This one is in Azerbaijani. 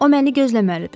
O məni gözləməlidir.